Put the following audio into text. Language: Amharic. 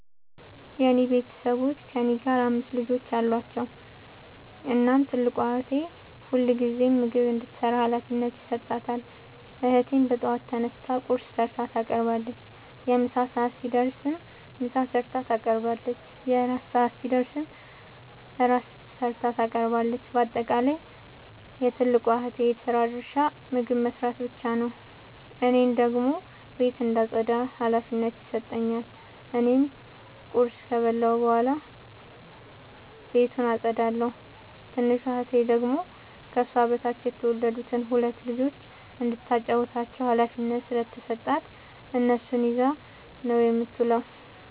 የኔ ቤተሠቦይ ከእኔ ጋር አምስት ልጆች አሏቸዉ። እናም ትልቋን እህቴ ሁልጊዜም ምግብ እንድትሰራ ሀላፊነት ይሠጣታል። እህቴም በጠዋት ተነስታ ቁርስ ሠርታ ታቀርባለች። የምሣ ሰዓት ሲደርስም ምሳ ሠርታ ታቀርባለች። የእራት ሰዓት ሲደርስም ራት ሠርታ ታቀርባለች። ባጠቃለይ የትልቋ እህቴ የስራ ድርሻ ምግብ መስራት ብቻ ነዉ። እኔን ደግሞ ቤት እንዳጠዳ ሀላፊነት ይሠጠኛል። እኔም ቁርስ ከበላሁ በኃላ ቤቱን አጠዳለሁ። ትንሿ እህቴ ደግሞ ከሷ በታች የተወለዱትን ሁለት ልጆይ እንዳታጫዉታቸዉ ሀላፊነት ስለተሠጣት እነሱን ይዛ ነዉ የምትዉለዉ።